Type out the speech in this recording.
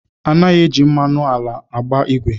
Anaghị eji mmanụ ala agba ìgwè